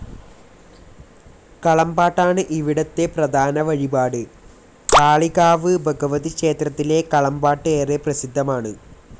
കളംപാട്ടാണ് ഇവിടത്തെ പ്രധാന വഴിപാട്. കാളികാവ് ഭഗവതി ക്ഷേത്രത്തിലെ കളംപാട്ട് ഏറെ പ്രസിദ്ധമാണ്.